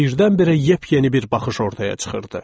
Birdən-birə yepyeni bir baxış ortaya çıxırdı.